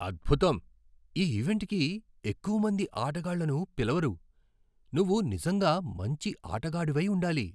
అద్భుతం! ఈ ఈవెంట్కి ఎక్కువ మంది ఆటగాళ్లను పిలవరు. నువ్వు నిజంగా మంచి ఆటగాడివై ఉండాలి!